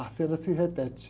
A cena se repete.